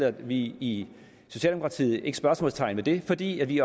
at vi i socialdemokratiet ikke sætter spørgsmålstegn ved det fordi vi